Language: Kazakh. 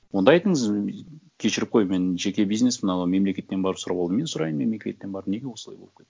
онда айтыңыз кешіріп қой мен жеке бизнеспін анау мемлекеттен барып сұрап ал мен сұрайын мемлекеттен барып неге осылай болып кетті